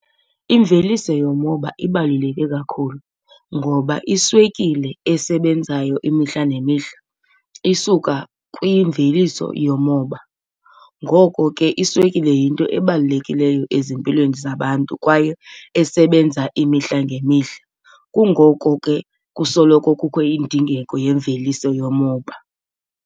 Imveliso yomoba ibaluleke kakhulu ngoba iswekile esebenzayo imihla nemihla isuka kwimveliso yomoba. Ngoko ke iswekile yinto ebalulekileyo ezimpilweni zabantu kwaye esebenza imihla ngemihla, kungoko ke kusoloko kukho indingeko yemveliso yomoba.